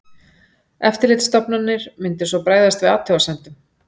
Eftirlitsstofnanir myndu svo bregðast við athugasemdum